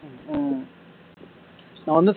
நான் வந்து